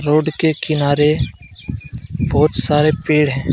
Road के किनारे बहुत सारे पेड़ हैं।